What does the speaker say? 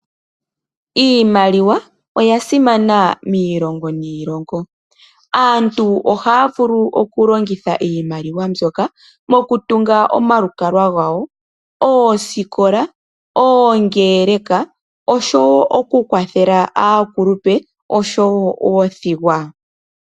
Iimaliwa oya simana miilongo niilongo . Aantu ohaya vulu oku longitha iimaliwa mbyoka mokutunga omalukalwa gawo, oosikola ,oongeleka osho wo oku kwathela aakulupe osho wo oothigwa.